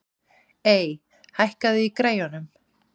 Ey, hækkaðu í græjunum.